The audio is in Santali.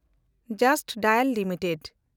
just dial limited